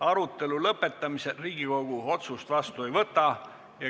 Arutelu lõpetamisel Riigikogu otsust vastu ei võta.